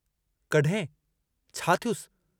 कॾहिं छा थियुसि?